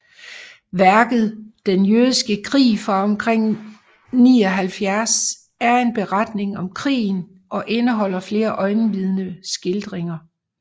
Værket Den jødiske krig fra omkring 79 er en beretning om krigen og indeholder flere øjenvidneskildringer